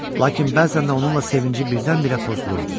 Lakin bəzən də onunla sevinci birdən-birə pozulurdu.